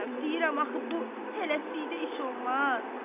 Deyirəm axı bu tələsikdə iş olmaz.